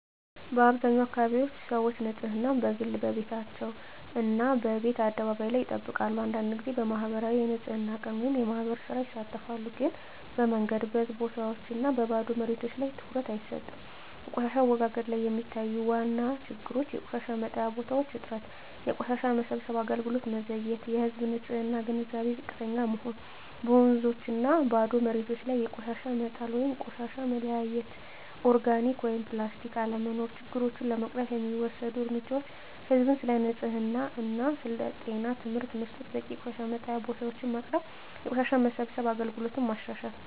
በአብዛኛው አካባቢዎች ሰዎች ንፅህናን፦ በግል ቤታቸው እና በየቤት አደባባይ ላይ ይጠብቃሉ አንዳንድ ጊዜ በማኅበራዊ የንፅህና ቀን (የማህበር ሥራ) ይሳተፋሉ ግን በመንገድ፣ በህዝብ ቦታዎች እና በባዶ መሬቶች ላይ ትኩረት አይሰጥም በቆሻሻ አወጋገድ ላይ የሚታዩ ዋና ችግሮች የቆሻሻ መጣያ ቦታዎች እጥረት የቆሻሻ መሰብሰብ አገልግሎት መዘግየት የህዝብ ንፅህና ግንዛቤ ዝቅተኛ መሆን በወንዞችና ባዶ መሬቶች ላይ ቆሻሻ መጣል ቆሻሻ መለያየት (ኦርጋኒክ/ፕላስቲክ) አለመኖር ችግሮቹን ለመቅረፍ የሚወሰዱ እርምጃዎች ህዝብን ስለ ንፅህና እና ጤና ትምህርት መስጠት በቂ የቆሻሻ መጣያ ቦታዎች ማቅረብ የቆሻሻ መሰብሰብ አገልግሎትን ማሻሻል